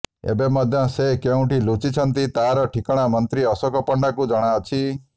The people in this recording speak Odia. ଏବେ ମଧ୍ୟ ସେ କେଉଁଠି ଲୁଚିଛନ୍ତି ତାର ଠିକଣା ମନ୍ତ୍ରୀ ଅଶୋକ ପଣ୍ଡାଙ୍କୁ ଜଣାଅଛି